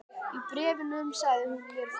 Í bréfunum sagði hún mér frá